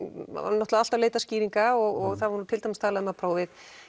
náttúrulega alltaf leitað skýringa og það var til dæmis talað um að prófið